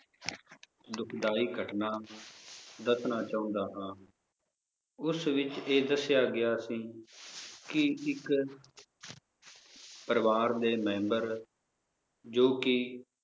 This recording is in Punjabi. ਦੁਖਦਾਈ ਘਟਨਾ ਦੱਸਣਾ ਚਾਹੁੰਦਾ ਹਾਂ ਉਸ ਵਿਚ ਇਹ ਦੱਸਿਆ ਗਿਆ ਸੀ ਕਿ ਇਕ ਪਰਿਵਾਰ ਦੇ member, ਜੋ ਕਿ